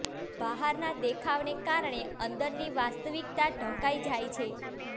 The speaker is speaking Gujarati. બહારના દેખાવને કારણે અંદરની વાસ્તવિકતા ઢંકાઈ જાય છે